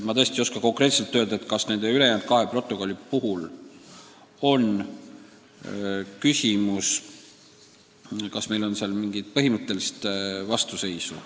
Ma ei oska tõesti öelda, kas nende ülejäänud kahe protokolli puhul on küsimus selles, et me oleme seal mingile punktile põhimõtteliselt vastu.